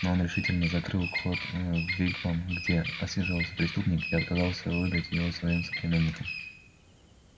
но он решительно закрыл вход в вигвам где отсиживался преступник и отказался выдать его своим соплеменникам